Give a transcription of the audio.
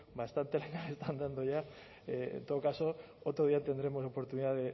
bastante leña le están dando ya en todo caso otro día tendremos oportunidad